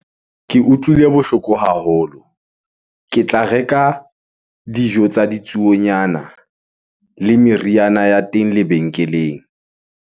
Ke utlwile bohloko haholo. Ke tla reka dijo tsa ditsuonyana le meriana ya teng lebenkeleng.